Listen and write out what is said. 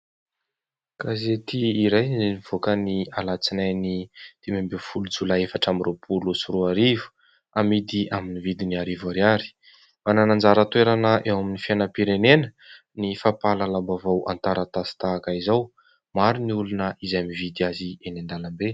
Gazety iray izay nivoaka ny alatsinainy dimy ambin'ny folo jolay efatra amby roapolo sy roa arivo, amidy amin'ny vidiny arivo Ariary. Manana anjara toerana eo amin'ny fiainam-pirenena ny fampahalalam-bavao an-taratasy tahaka izao. Maro ny olona izay mividy azy eny an-dalambe.